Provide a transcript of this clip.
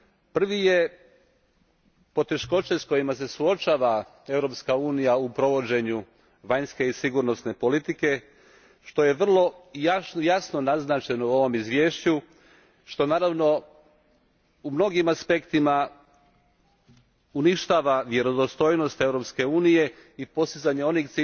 Prvi je poteškoće s kojima se suočava Europska unija u provođenju vanjske i sigurnosne politike što je vrlo jasno naznačeno u ovom izvješću, što naravno u mnogim aspektima uništava vjerodostojnost Europske unije i postizanje onih